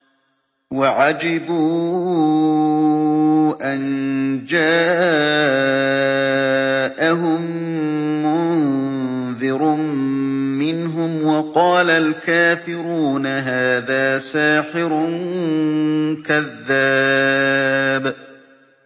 وَعَجِبُوا أَن جَاءَهُم مُّنذِرٌ مِّنْهُمْ ۖ وَقَالَ الْكَافِرُونَ هَٰذَا سَاحِرٌ كَذَّابٌ